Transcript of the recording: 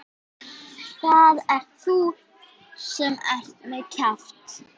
Það ert þú sem ert með kjaft.